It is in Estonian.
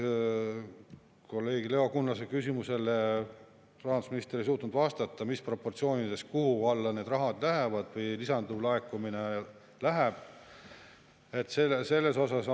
Kolleeg Leo Kunnase küsimusele, mis proportsioonides ja kuhu alla see raha või lisanduv laekumine läheb, rahandusminister ei suutnud vastata.